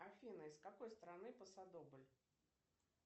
афина из какой страны посадобль